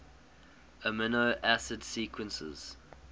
amino acid sequences